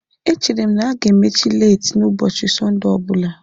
Echere m na ha ga-emechi leeti n'ụbọchị Sọnde ọ bụla.